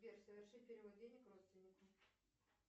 сбер соверши перевод денег родственнику